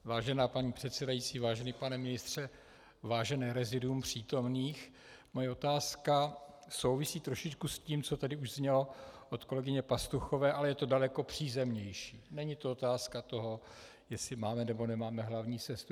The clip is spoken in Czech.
Vážená paní předsedající, vážený pane ministře, vážené reziduum přítomných, moje otázka souvisí trošičku s tím, co tady už znělo od kolegyně Pastuchové, ale je to daleko přízemnější, není to otázka toho, jestli máme nebo nemáme hlavní sestru.